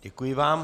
Děkuji vám.